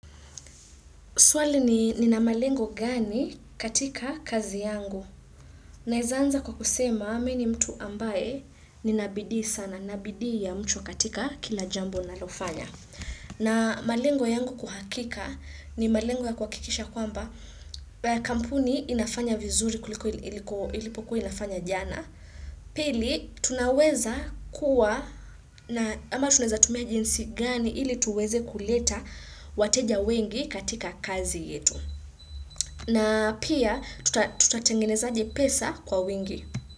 Swali ni nina malengo gani katika kazi yangu. Naeza anza kwa kusema, mi ni mtu ambaye ninabidii sana, Nina bidii ya mchwa katika kila jambo ninalofanya. Na malengo yangu kwa hakika ni malengo ya kuhakikisha kwamba kampuni inafanya vizuri kuliko ilipokuwa inafanya jana. Pili tunaweza kuwa na ama tunaweza tumia jinsi gani ili tuweze kuleta wateja wengi katika kazi yetu. Na pia tutatengenezaje pesa kwa wengi.